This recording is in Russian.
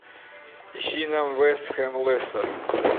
ищи нам вест хэм лестер